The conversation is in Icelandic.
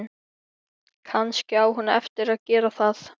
Kannski á hún eftir að gera það.